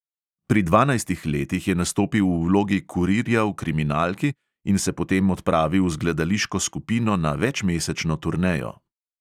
Pri dvanajstih letih je nastopil v vlogi kurirja v kriminalki in se potem odpravil z gledališko skupino na večmesečno turnejo.